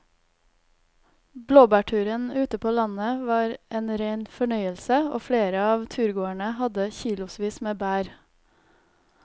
Blåbærturen ute på landet var en rein fornøyelse og flere av turgåerene hadde kilosvis med bær.